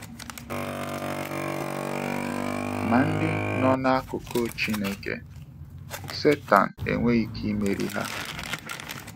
Ma ndị nọ n’akụkụ Chineke, Satọn enweghị ike imeri ha.